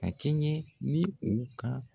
A kɛɲɛ ni u ka